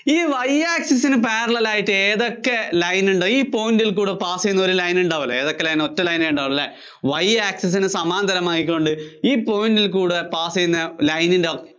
ആണ്. ഈ Y access ന് parallel ആയി ഏതൊക്കെ line ഉണ്ടോ, ഈ point ല്‍ കൂടെ pass ചെയ്യുന്ന ഒരു line ഉണ്ടാവില്ലെ, ഏതൊക്കെ line ആ ഒറ്റ line നേ ഉണ്ടാവുള്ളൂ അല്ലേ, Y access സമാന്തരമായിക്കൊണ്ട് ഈ point ല്‍ കൂടെ pass ചെയ്യുന്ന line ന്‍റെ